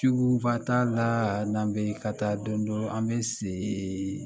Suguba t'a la n'an bɛ ka taa dɔɔnin dɔɔnin an bɛ se